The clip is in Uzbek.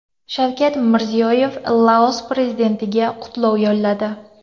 Shavkat Mirziyoyev Laos prezidentiga qutlov yo‘lladi.